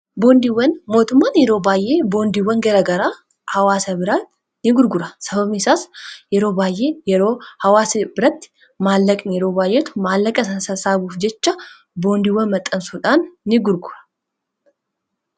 boondiiwwan mootummaan yeroo baay'ee boondiiwwan gara garaa hawaasa biraati in gurgura sababniisaas yeroo baay'ee yeroo hawaasa biratti maallaqn yeroo baayyetu maallaqa san sassaabuuf jecha boondiiwwan maxxansuudhaan in gurgura